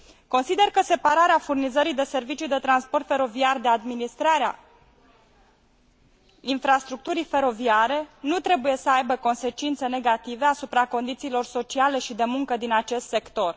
Consider că separarea furnizării de servicii de transport feroviar de administrarea infrastructurii feroviare nu trebuie să aibă consecințe negative asupra condițiilor sociale și de muncă din acest sector.